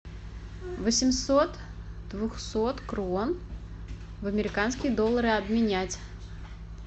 восемьсот двухсот крон в американские доллары обменять